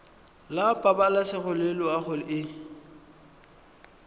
la pabalesego le loago e